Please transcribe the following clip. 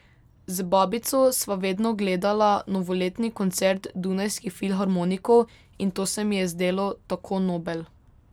Z babico sva vedno gledala novoletni koncert Dunajskih filharmonikov, in to se mi je zdelo tako nobel.